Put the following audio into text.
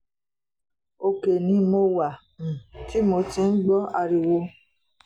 òkè ni mo wà um tí mo ti ń gbọ́ ariwo